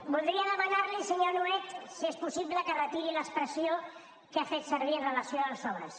voldria demanar li senyor nuet si és possible que retiri l’expressió que ha fet servir amb relació als sobres